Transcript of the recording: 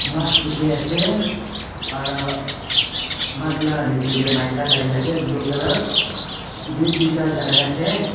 mas dikhiase aro mas la nichae tae maika lakai na ase blue colour edu tuita lakai na ase.